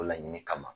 O laɲini kama